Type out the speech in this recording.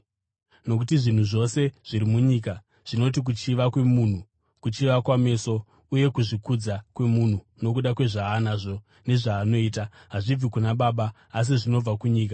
Nokuti zvinhu zvose zviri munyika zvinoti kuchiva kwemunhu, kuchiva kwameso uye kuzvikudza kwemunhu nokuda kwezvaanazvo nezvaanoita, hazvibvi kuna Baba asi zvinobva kunyika.